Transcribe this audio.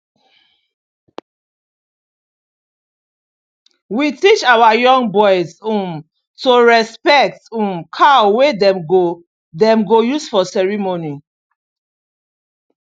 we teach our young boys um to respect um cow wey dem go dem go use for ceremony